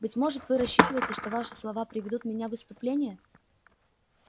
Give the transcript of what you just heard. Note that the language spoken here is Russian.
быть может вы рассчитываете что ваши слова приведут меня в исступление